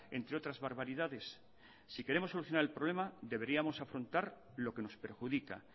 entre otras barbaridades si queremos solucionar el problema deberíamos afrontar lo que nos perjudica